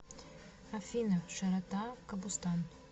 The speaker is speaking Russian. афина широта кобустан